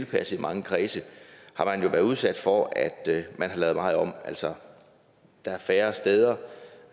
kredse i mange kredse har man jo været udsat for at der er lavet meget om altså der er færre steder